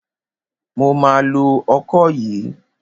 Mo ma lo ọkọ yìí.